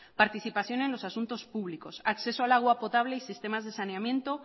participación en los asuntos públicos acceso al agua potable y sistemas de saneamiento